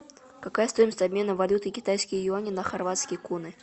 какая стоимость обмена валюты китайские юани на хорватские куны